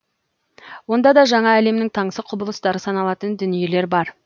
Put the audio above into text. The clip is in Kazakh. онда да жаңа әлемнің таңсық құбылыстары саналатын дүниелер бар